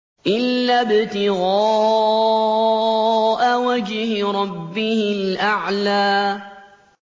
إِلَّا ابْتِغَاءَ وَجْهِ رَبِّهِ الْأَعْلَىٰ